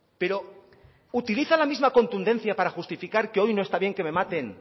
pero utiliza la misma contundencia para justificar que hoy no está bien que me maten